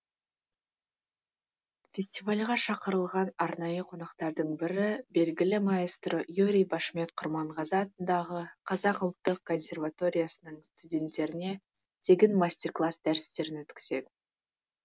фестивальге шақырылған арнайы қонақтардың бірі белгілі маэстро юрий башмет құрманғазы атындағы қазақ ұлттық консерваториясының студенттеріне тегін мастер класс дәрістерін өткізеді